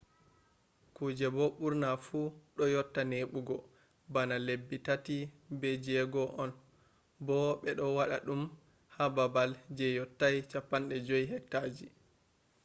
kujeji do burna fu do yotta nebugo bana lebbi tati be jego on bo be do wada dum ha babal je yottai 50 hecta ji